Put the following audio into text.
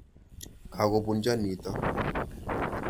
Ka kopunchon nitok.